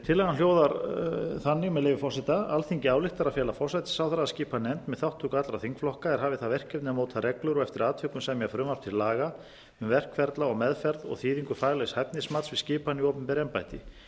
tillagan hljóðar þannig með leyfi forseta alþingi ályktar að fela forsætisráðherra að skipa nefnd með þátttöku allra þingflokka er hafi það verkefni að móta reglur og eftir atvikum semja frumvarp til laga um verkferla og meðferð og þýðingu faglegs hæfnismats við skipanir í opinber embætti